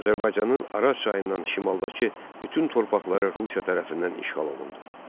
Azərbaycanın Araz çayından şimaldakı bütün torpaqları Rusiya tərəfindən işğal olundu.